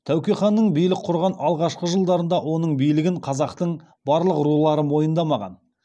тәуке ханның билік құрған алғашқы жылдарында оның билігін қазақтың барлық рулары мойындамаған